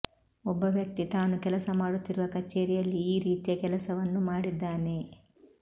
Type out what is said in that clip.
ಒಬ್ಬ ವ್ಯಕ್ತಿ ತಾನು ಕೆಲಸ ಮಾಡುತ್ತಿರುವ ಕಚೇರಿಯಲ್ಲಿ ಈ ರೀತಿಯ ಕೆಲಸವನ್ನು ಮಾಡಿದ್ದಾನೆ